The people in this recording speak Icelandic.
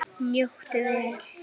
Njóttu vel.